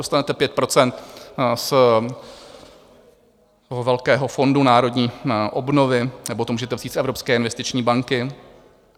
Dostanete 5 % z toho velkého Fondu národní obnovy, nebo to můžete vzít z Evropské investiční banky.